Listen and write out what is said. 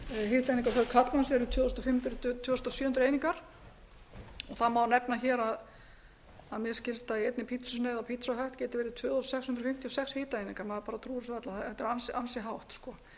fimm hundruð til tvö þúsund sjö hundruð hitaeiningar einnig að í einni pitsusneið á pizza hut geta verið tvö þúsund sex hundruð fimmtíu og sex hitaeiningar maður bara trúir þessu varla þetta er ansi hátt í